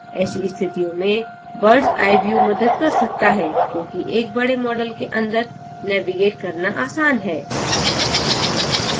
ऐसी स्थितियों में bird s eye view मदद कर सकता है क्योंकि एक बड़े model के अन्दर navigate करना आसान है